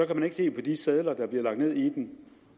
kan man ikke se på de sedler der bliver lagt ned i den